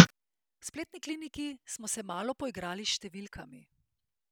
V Spletni kliniki smo se malo poigrali s številkami.